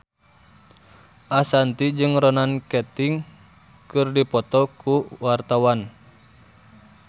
Ashanti jeung Ronan Keating keur dipoto ku wartawan